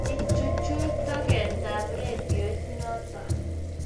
Ichuchuch tugetab rediot noto